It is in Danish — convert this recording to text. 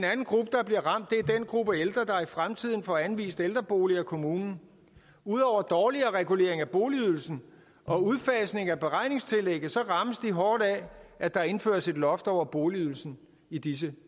gruppe ældre der i fremtiden får anvist ældreboliger af kommunen ud over dårligere regulering af boligydelsen og udfasning af beregningstillægget rammes de hårdt af at der indføres et loft over boligydelsen i disse